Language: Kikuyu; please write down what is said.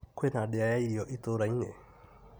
Kwĩna ndĩa ya irio itũra-inĩ .